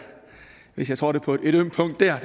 hvis jeg trådte på et ømt punkt der